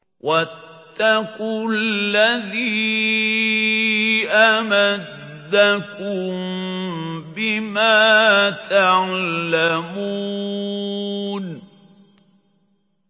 وَاتَّقُوا الَّذِي أَمَدَّكُم بِمَا تَعْلَمُونَ